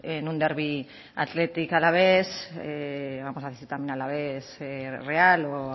en un derby athletic alavés vamos a decir también alavés real o